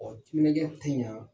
O timinaja tɛ ɲan.